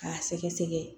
K'a sɛgɛsɛgɛ